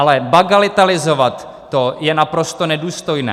Ale bagatelizovat to je naprosto nedůstojné.